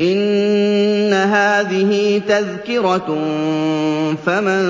إِنَّ هَٰذِهِ تَذْكِرَةٌ ۖ فَمَن